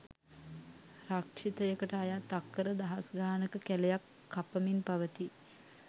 රක්ෂිතයකට අයත් අක්කර දහස්ගානක කැලයක් කපමින් පවති